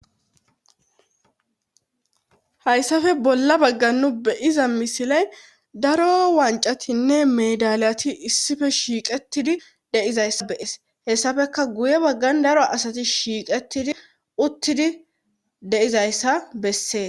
Hayssafe bolla baggannu beyiza misiley daro wancatinne medalyati issife shiiqetidi dizayssa bees hessafeka guye baggan daro asati shiiqetidi uttidi deizayssa bessee